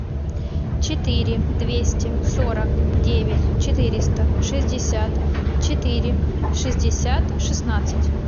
четыре двести сорок девять четыреста шестьдесят четыре шестьдесят шестнадцать